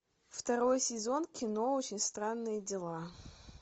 второй сезон кино очень странные дела